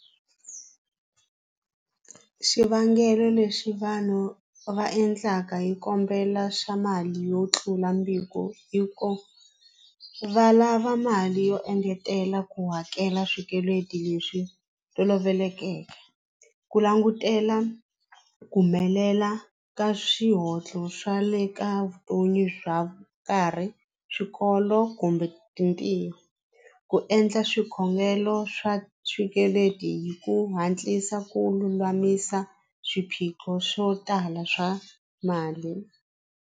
Xivangelo lexi vanhu va endlaka hi kombela swa mali yo tlula i ku va lava mali yo engetela ku hakela swikweleti leswi tolovelekeke ku langutela ku humelela ka swa le ka vutomi bya karhi swikolo kumbe mitirho ku endla swikhongelo swa swikweleti hi ku hatlisa ku lulamisa swiphiqo swo tala swa mali.